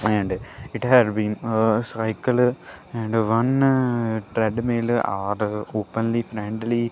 and it had been a cycle and one threadmill are open frontly.